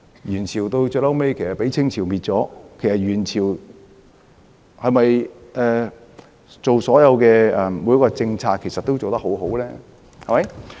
元朝最終被明朝消滅，元朝所做的每一個政策是否都做得很好呢？